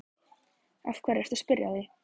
Af hverju ertu að spyrja að því.